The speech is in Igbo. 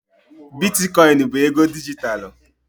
Biticoinu bụ ego dijitalụ.